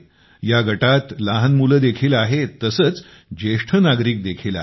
या गटात लहान मुले देखील आहेत तसेच वरिष्ठ नागरिक देखील आहेत